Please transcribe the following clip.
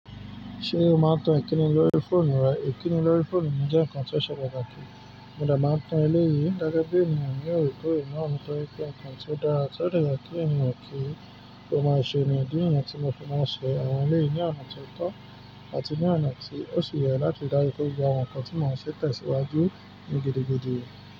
Ṣé o máa ń tan Ìkíni lórí fóònù rẹ? Ìkíni lórí fóònù mi jẹ́ ǹkan ti ó se pàtàkì. Mo de maá ń tan ẹlẹ́yi gege bí ènìyàn ni òre kó re naá tọ́rí pé ǹkan tí ó dára tó de ye kí ènìyàn kí ó máa ṣe ni idí niyẹn tí mo fi máa ń ṣe àwọn ẹlẹ́yì ní ọ̀nà tó tọ́ àti ní ọ̀nà tí ó sì yẹ láti ri daju pe gbogb àwọn ǹkan tí mo n ṣe tẹ̀síwájú ní gidigidi.